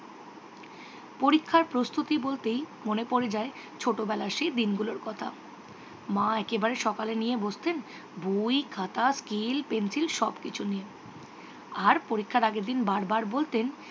পরিক্ষার প্রস্তুতি বলতেই মনে পড়ে যায় ছতবেলার সেই দিঙ্গুলর কথা। মা একেবারে সকালে নিয়ে বসতেন বই খাটা স্কেল পেন্সিল সব কিছু নিয়ে। আর পরীক্ষার আগেরদিন বার বার বলতেন